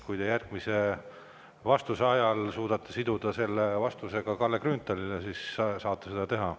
Kui te järgmise vastuse suudate siduda vastusega Kalle Grünthalile, siis saate seda teha.